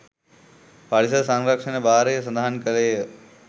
පරිසර සංරක්ෂණ භාරය සඳහන් කළේය.